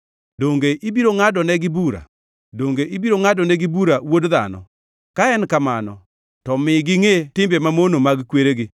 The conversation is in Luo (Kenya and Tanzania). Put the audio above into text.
Donge ibiro ngʼadonegi bura? Donge ibiro ngʼadonegi bura, wuod dhano? Ka en kamano, to mi gingʼe timbe mamono mag kweregi